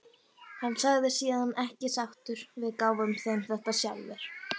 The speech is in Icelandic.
Hann sagði síðan ekki sáttur: Við gáfum þeim þetta sjálfir.